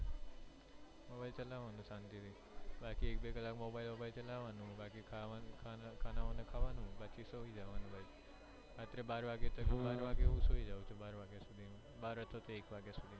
mobile ચલાવાનું શાંતિ થી બાકી એક બે કલાક mobile ચલાવાનું ખાન વાનું ખાવાનું બાકી બાર વાગ્યા સુધી સુવાનું બાર નહિ તો એક વાગ્યા સુધી સુઈ જવાનું